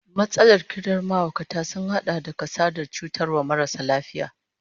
Matsalar kidan mahaukata sun hada da kasadar cutarwar marasa lafiyar